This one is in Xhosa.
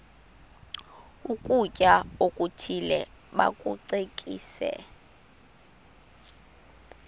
ukutya okuthile bakucekise